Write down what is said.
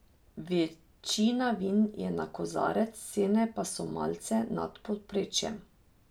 Večina vin je na kozarec, cene pa so malce nad povprečjem.